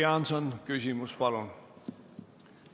Jüri Jaanson, küsimus, palun!